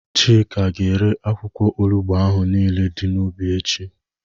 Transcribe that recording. Chika ga-ere akwụkwọ olugbu ahụ niile dị n'ubi echi.